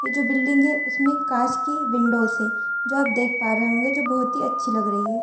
यह जो बिल्डिंग है उसमें कांच की विंडो है जो आप देख पा रहे होंगे जो बहुत ही अच्छी लग रही है।